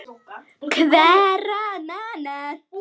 Hverra manna?